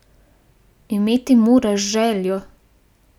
Imeti moraš željo.